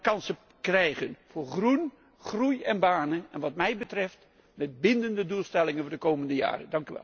Dan krijgen we kansen voor groen, groei en banen, en wat mij betreft met bindende doelstellingen voor de komende jaren.